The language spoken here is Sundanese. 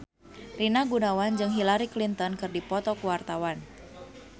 Rina Gunawan jeung Hillary Clinton keur dipoto ku wartawan